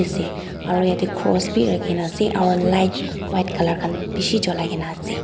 ase aru ete cross khan rakhina ase aru light white colour khan bishi julai na ase.